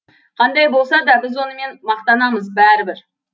қандай болса да біз онымен мақтанамыз бәрібір